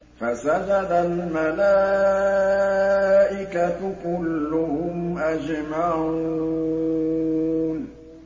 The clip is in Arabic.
فَسَجَدَ الْمَلَائِكَةُ كُلُّهُمْ أَجْمَعُونَ